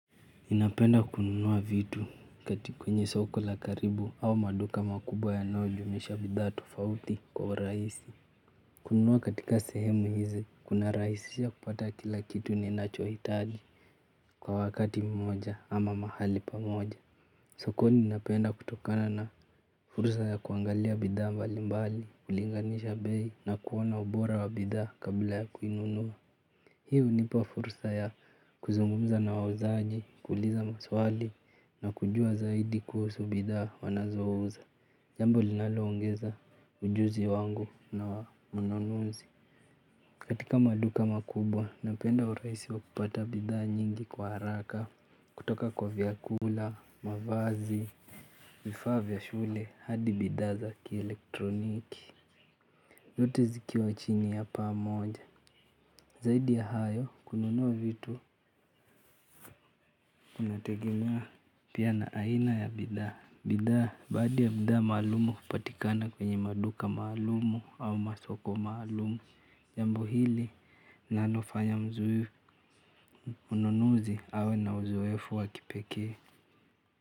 Ninapenda kununua vitu katika kwenye soko la karibu au maduka makubwa yanayo jumuisha bidhaa tufauti kwa urahisi. Kununua katika sehemu hizi kuna rahisisha kupata kila kitu ni nacho hitaji kwa wakati mmoja ama mahali pamoja. Sokoni ninapoenda kutokana na fursa ya kuangalia bidhaa mbalimbali kulinganisha bei na kuona ubora wa bidhaa kabla ya kuinunuwa. Hiu nipa fursa ya kuzungumza na wauzaji, kuuliza maswali na kujua zaidi kuhusu bidhaa wanazouza. Jambo linaloongeza ujuzi wangu na mnunuzi. Katika maduka makubwa, napenda urahisi wa kupata bidhaa nyingi kwa haraka kutoka kwa vyakula, mavazi, vifaa vya shule, hadi bidhaa za kielektroniki zote zikiwa chini ya paa moja, zaidi ya hayo kununu vitu kunategemea. Pia na aina ya bidhaa baadhi ya bidhaa maalum hupatika kwenye maduka maalum ama masoko maalum jambo hili nalo fanya mnunuzi awe na uzoefu wa kipekee.